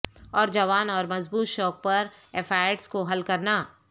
اور جوان اور مضبوط شوق پر ایفائڈز کو حل کرنا